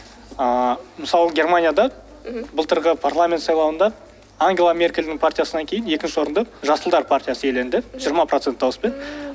ыыы мысалы германияда мхм былтырғы парламент сайлауында ангела меркельдің партиясынан кейін екінші орынды жасылдар партиясы иеленді жиырма процент дауыспен ммм